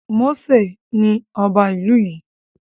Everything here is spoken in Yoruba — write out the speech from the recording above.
Mósè ni ọba ìlú yìí